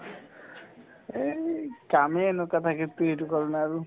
এই কামে এনেকুৱা থাকে ইটো-সিটো কৰো না আৰু